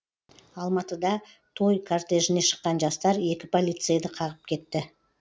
алматыда той кортежіне шыққан жастар екі полицейді қағып кетті